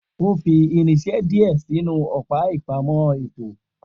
O fi irinse dìé sinu õpá ìpámõ ètó